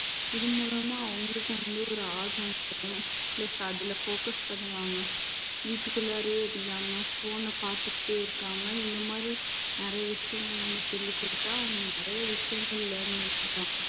இது மூலமா அவங்களுக்கு வந்து ஒரு ஆர்வம் வரும் plus அதுல focus பண்ணுவாங்க வீட்டுக்குள்ளாறயே இல்லாம phone ன பார்த்துக்கிட்டே இருக்காம இந்த மாதிரி நிறைய விஷயங்கள் நம்ம சொல்லிக் கொடுத்தா அவங்க நிறைய விஷயங்கள் learn பண்ணுவாங்க